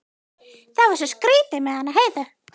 Það var svo skrýtið með hana Heiðu.